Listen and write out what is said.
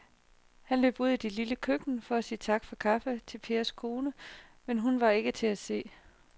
Han løb ud i det lille køkken for at sige tak for kaffe til Pers kone, men hun var ikke til at se.